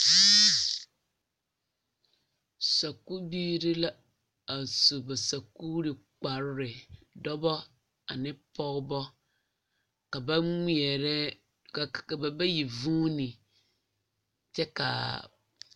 Sakubiiri la a su ba sakuuri kparre dɔbɔ ane pɔgebɔ ka ba ŋmeɛrɛ ka ba bayi vuuni kyɛ ka a.